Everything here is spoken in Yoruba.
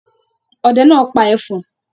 Ọdẹ náà pa ẹfọ̀n.